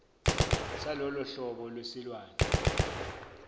salolo hlobo lwesilwane